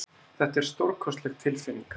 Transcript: Þetta er stórkostleg tilfinning.